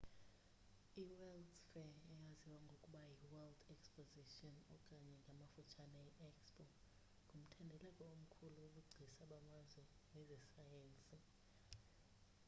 i-world’s fair eyaziwa ngokuba yi-world exposition okanye ngamafutshanye i-expo ngumthendeleko omkhulu wobugcisa bamazwe nezesayensi